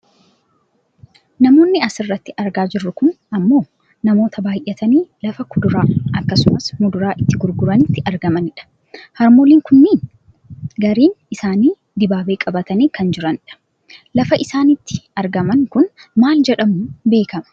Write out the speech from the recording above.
Namoonni asirratti argaa jirru kun ammoo namoota baayyatanii lafa kuduraa akkasumas muduraa itti gurguranitti argamanidha. Harmooliin kunneen gariin isaanii dibaabee qabatanii kan jiranidha. Lafti isaan itti argaman kun maal jedhamuu beekkama?